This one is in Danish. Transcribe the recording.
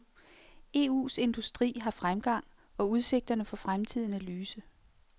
EUs industri har fremgang, og udsigterne for fremtiden er lyse.